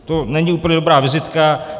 To není úplně dobrá vizitka.